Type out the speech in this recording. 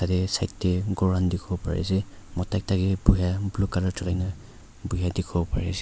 yete side dae kor kan tikibo bari ase muta ekta kae bhuya blue colour julaina bhuya tikibo bari ase.